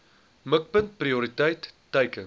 mikpunt prioriteit teiken